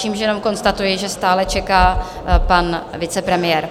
Čímž jenom konstatuji, že stále čeká pan vicepremiér.